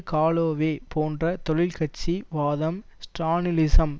Galloway போன்ற தொழிற் கட்சி வாதம் ஸ்ரானிலிசம்